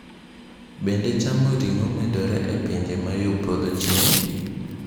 Bende chamo ring’o medore e pinje ma yo podho chieng’?